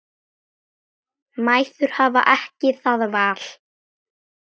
Mæður hafa ekki það val.